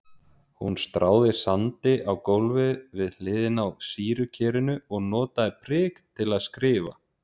Hún stráði sandi á gólfið við hliðina á sýrukerinu og notaði prik til að skrifa.